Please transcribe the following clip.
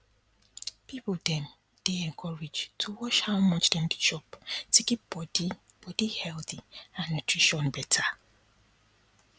people dem dey encouraged to watch how much dem dey chop to keep body body healthy and nutrition better